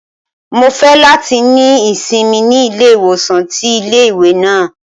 Mo fẹ lati ni isinmi ni ile-iwosan ti ile-iwe náà